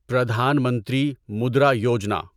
Pradhan Mantri Mudra Yojana